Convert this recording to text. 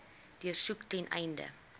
deursoek ten einde